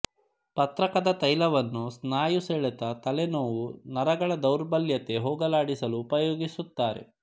ಪತ್ರಕದ ತೈಲವನ್ನು ಸ್ನಾಯು ಸೆಳೆತ ತಲೆ ನೋವು ನರಗಳ ದೌರ್ಬಲ್ಯತೆ ಹೋಗಲಾಡಿಸಲು ಉಪಯೋಗಿಸುತ್ತಾರೆ